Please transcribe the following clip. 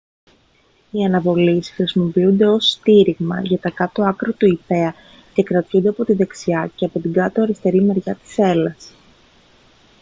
οι αναβολείς χρησιμοποιούνται ως στήριγμα για τα κάτω άκρα του ιππέα και κρατιούνται από την δεξιά και από την αριστερή μεριά της σέλας